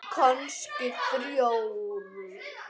Kannski þrjár.